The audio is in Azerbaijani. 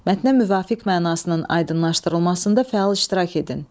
Mətnə müvafiq mənasının aydınlaşdırılmasında fəal iştirak edin.